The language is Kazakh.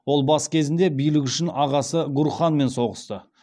ол бас кезінде билік үшін ағасы гурханмен соғысты